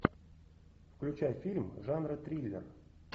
включай фильм жанра триллер